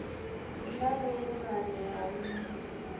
hu na vhuṱumani ha nṱha